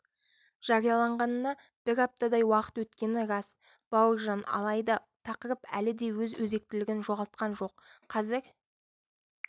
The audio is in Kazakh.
жарияланғанына бір аптадай уақыт өткені рас бауыржан алайда тақырып әлі де өз өзектілігін жоғалтқан жоқ қазір